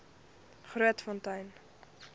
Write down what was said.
grootfontein